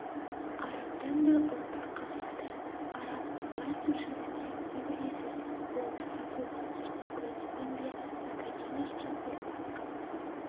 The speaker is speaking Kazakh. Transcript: арабтан да ұрпақ қалмады араб ғаббасов жөнінде не білесіз ол кісі қуғын-сүргін көрмеген бе академиктен ұрпақ